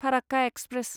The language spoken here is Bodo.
फाराक्का एक्सप्रेस